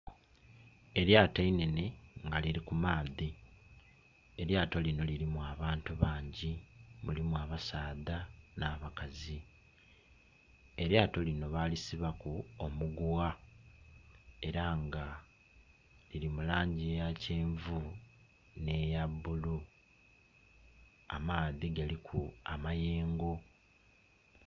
Elyato einenhe nga lili ku maadhi elyato lino lilimu abantu bangi mulimu abasadha na bakazi. Elyato lino balisibaku omugugha era nga lili mu langi eya kyenvu neya bulu amaadhi galiku amayengo.